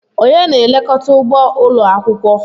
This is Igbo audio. Onye na-elekọta ugbo ụlọ akwụkwọ?